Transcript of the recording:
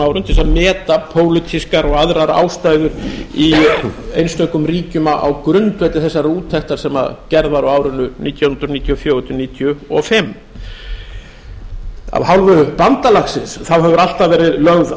árum til að meta pólitískar og aðrar ástæður í einstökum ríkjum á grundvelli þessarar úttektar sem gerð var á árinu nítján hundruð níutíu og fjögur til nítján hundruð níutíu og fimm af hálfu bandalagsins hefur alltaf verið lögð